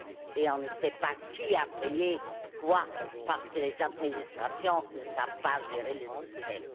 et on ne sait pas qui a payé quoi parce que les administrations ne savent pas gérer le système.